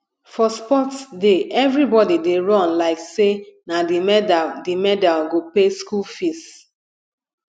for sports day everybody dey run like say na the medal the medal go pay school fees